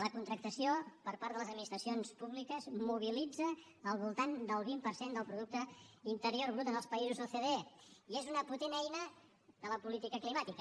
la contractació per part de les administracions públiques mobilitza al voltant del vint per cent del producte interior brut en els països ocde i és una potent eina de la política climàtica